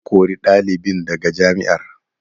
An kori ɗalibin daga jami'ar.